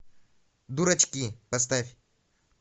дурачки поставь